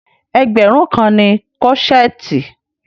Ẹgbẹ̀rún kan ni kọ́ṣẹ̀ẹ̀tì